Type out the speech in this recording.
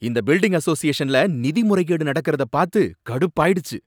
இந்த பில்டிங் அசோசியேஷன்ல நிதி முறைகேடு நடக்கறத பாத்து கடுப்பாயிடுச்சு.